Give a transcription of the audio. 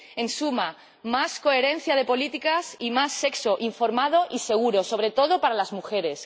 En suma, más coherencia de las políticas y más sexo informado y seguro, sobre todo para las mujeres.